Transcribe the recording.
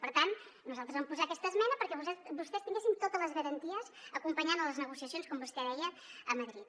per tant nosaltres vam posar aquesta esmena perquè vostès tinguessin totes les garanties acompanyant les negociacions com vostè deia a madrid